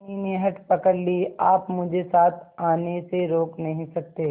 धनी ने हठ पकड़ ली आप मुझे साथ आने से रोक नहीं सकते